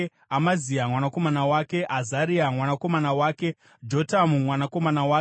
Amazia mwanakomana wake, Azaria mwanakomana wake, Jotamu mwanakomana wake,